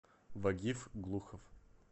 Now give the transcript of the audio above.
вагив глухов